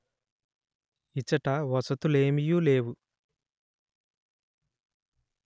ఇచట వసతులేమియు లేవు